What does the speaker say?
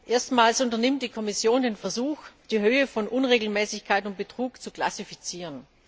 Erstmals unternimmt die Kommission den Versuch, die Höhe von Unregelmäßigkeiten und Betrug zu klassifizieren.